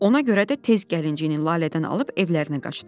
Ona görə də tez gəlincini Lalədən alıb evlərinə qaçdı.